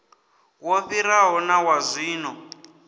wo fhiraho na wa zwino